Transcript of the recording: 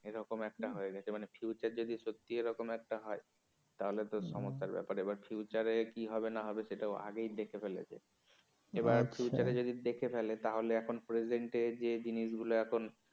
এরকম একটা হয়ে গেছে মানে future যদি সত্যি এরকম একটা হয় তাহলে তো সমস্যার ব্যাপারে এবার future কি হবে না হবে সেটাও আগেই দেখে ফেলেছে এবার future যদি দেখে ফেলে তাহলে এখন present যে জিনিসগুলো এখন